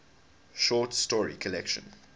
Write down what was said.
short story collection